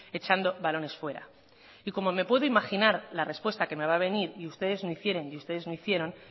echando balones fuera y como me puedo imaginar la respuesta que me va a venir y ustedes no hicieren y ustedes no hicieron